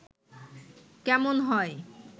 কেমন হয়